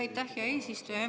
Aitäh, hea eesistuja!